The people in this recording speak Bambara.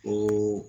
Ko